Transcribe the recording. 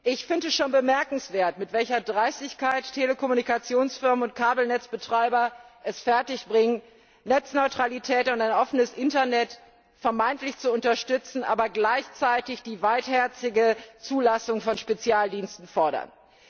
Ich finde es schon bemerkenswert, mit welcher Dreistigkeit Telekommunikationsfirmen und Kabelnetzbetreiber es fertigbringen, Netzneutralität und ein offenes Internet vermeintlich zu unterstützen, aber gleichzeitig die weitherzige Zulassung von Spezialdiensten fordern.